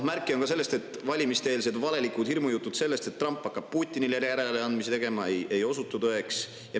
Märke on ka sellest, et valimiste-eelsed valelikud hirmujutud, nagu Trump hakkaks Putinile järeleandmisi tegema, ei osutu tõeks.